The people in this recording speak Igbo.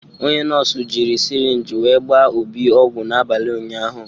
onye nọọsụ jiri sirinji gbaa Obi ogwu n'abalị ụnyahụ.